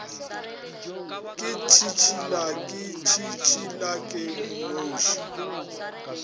ke tšhitšhila ke tšhitšhilake nnoši